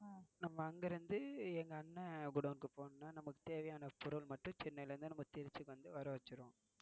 நம்ம அங்கிருந்து எங்க அண்ணன் குடோன்க்கு போனும்னா நமக்கு தேவயான பொருள் மட்டும் சென்னைல இருந்து திருச்சிக்கு வந்து வரவச்சிருவோம்